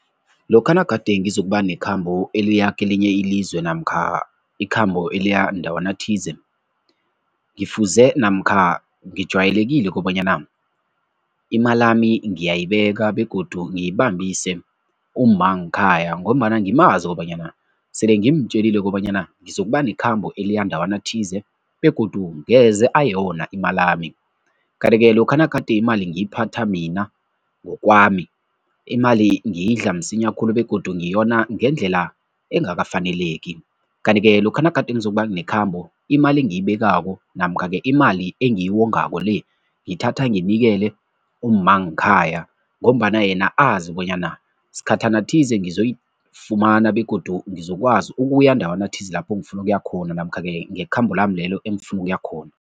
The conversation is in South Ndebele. Lokha nagade ngizokuba ngekhambo eliya kelinye ilizwe namkha ikhambo eliya ndawana thize, ngifuze namkha ngijwayelekile kobanyana imalami ngiyayibeka begodu ngiyibambise umma ngekhaya ngombana ngimazi kobanyana sele ngimtjelile kobanyana ngizokuba nekhambo eliya ndawana thize begodu ngeze ayona imalami kanti-ke lokha nagade imali ngiyiphatha mina ngokwami, imali ngiyidla msinya khulu begodu ngiyona ngendlela engakafaneleki kanti-ke lokha nagade ngizokuba nekhambo, imali engiyibekako namkha-ke imali engiyiwongako le, ngiyithatha ngiyinikele umma ngekhaya ngombana yena azi bonyana sikhathana thize ngizoyifumana begodu ngizokwazi ukuya ndawana thize lapho ngifuna ukuya khona namkha-ke ngekhambo lami lelo engifuna ukuya khona.